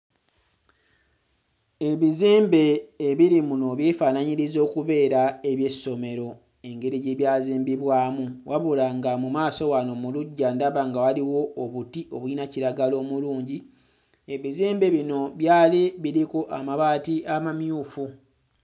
Ebizimbe ebiri muno byefaanaanyiriza okubeera eby'essomero engeri gye byazimbibwamu, wabula nga mu maaso wano mu luggya ndaba nga waliwo obuti obuyina kiragala omulungi. Ebizimbe bino byali biriko amabaati amamyufu.